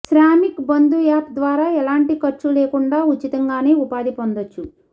Shramik Bandhu app ద్వారా ఎలాంటి ఖర్చు లేకుండా ఉచితంగానే ఉపాధి పొందొచ్చు